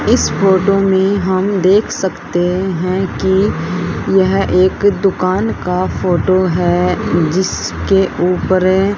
इस फोटो में हम देख सकते हैं कि यह एक दुकान का फोटो है जिसके ऊपरें--